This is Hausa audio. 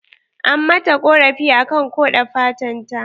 An mata ƙorafi akan ƙode fatan ta